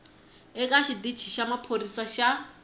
eka xitici xa maphorisa xa